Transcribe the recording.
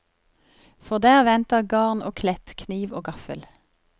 For der venter garn og klepp, kniv og gaffel.